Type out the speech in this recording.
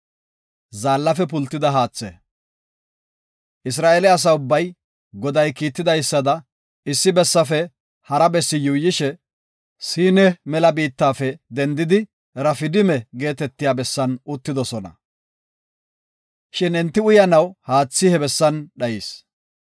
Isra7eele asa ubbay Goday kiitidaysada issi bessafe hara bessi yuuyishe, Siin mela biittafe dendidi Rafidima geetetiya bessan uttidosona. Shin enti uyanaw haathi he bessan dhayis.